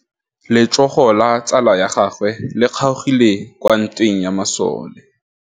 Letsôgô la tsala ya gagwe le kgaogile kwa ntweng ya masole.